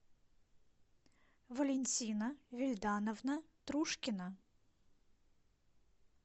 валентина вильдановна трушкина